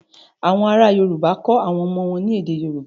Àwọn ará Yorùbá kọ́ àwọn ọmọ wọn ní èdè Yorùbá.